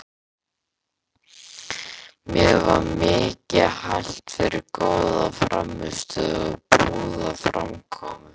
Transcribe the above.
Mér var mikið hælt fyrir góða frammistöðu og prúða framkomu.